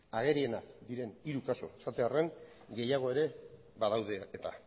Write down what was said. agerienak diren hiru kasu esatearren gehiago ere badaude eta